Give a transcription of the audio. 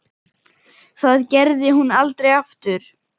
Það gerði hún aldrei aftur.